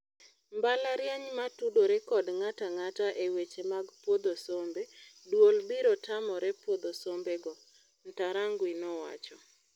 "Mbalariany matudore kod ng'atang'ata e weche mag puodho sombe, duol biro tamore puodho sombe go," Ntarangwi nowacho.